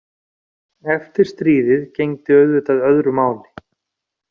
Eftir stríðið gegndi auðvitað öðru máli.